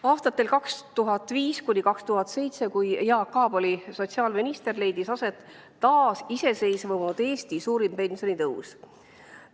Aastatel 2005–2007, kui Jaak Aab oli sotsiaalminister, leidis aset taasiseseisvunud Eesti suurim pensionitõus.